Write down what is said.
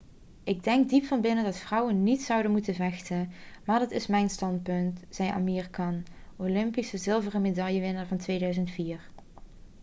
'ik denk diep van binnen dat vrouwen niet zouden moeten vechten. maar dat is mijn standpunt,' zei amir khan olympisch zilveren medaillewinnaar van 2004